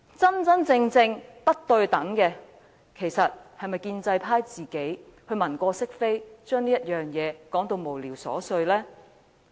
真正不公平的，是建制派議員文過飾非，把這件事說成是無聊瑣屑。